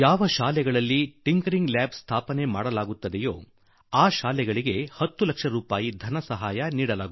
ಯಾವ ಯಾವ ಶಾಲೆಗಳಲ್ಲಿ ಈ ಖಿiಟಿಞeಡಿiಟಿg ಐಚಿb ಸ್ಥಾಪನೆಯಾಗುವುದೋ ಅವುಗಳಿಗೆ 10 ಲಕ್ಷ ರೂಪಾಯಿಗಳನ್ನು ಕೊಡ ಮಾಡಲಾ